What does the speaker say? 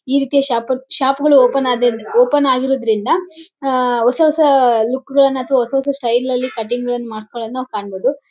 ರೀತಿಯ ಶಾಪ ಶಾಪ್ ಗಳು ಓಪನ್ ಅದ್ ಓಪನ್ ಆಗಿರೋದ್ರಿಂದ ಹ ಹೊಸ ಹೊಸ ಲುಕ್ ಗಳನ್ನ ತೋರಿಸೋ ಅಂತ ಸ್ಟೈಲ್ ಗಳಲ್ಲಿ ಕಟಿಂಗ್ ನ್ನು ಮಾಡೋದನ್ನ ನಾವ್ ಕಾಣಬಹುದು .